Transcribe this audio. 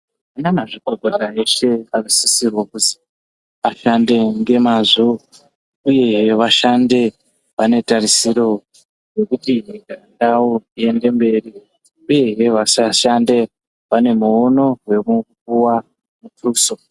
Vashandi vanosisirwa kuti vashande ngemwazvo uye vashande vane tarisiro yekuti ndau iende mberi uyehe vasashande vane muono wekupuwa .